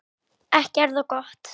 Ekki er það gott.